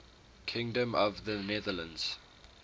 kingdom of the netherlands